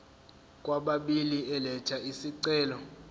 kwababili elatha isicelo